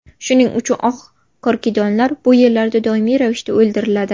Shuning uchun oq korkidonlar bu yerlarda doimiy ravishda o‘ldiriladi.